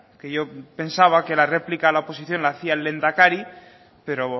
que yo pensaba que la réplica a la oposición la hacía el lehendakari pero